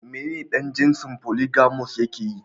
Menene dan jinsin "Polygamous " yakeyi.